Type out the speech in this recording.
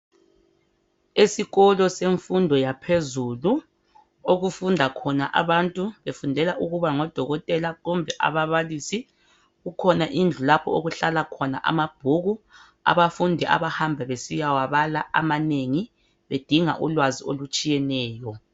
Esikolo semfundo yaphezulu okufunda khona abantu befundela ukuba ngodokotela kumbe ababalisi. Kukhona indlu lapho okuhlala khona amabhuku. Abafundi ababamba besiyawabala amanengi bedinga ulwazi olutshiyeneyo.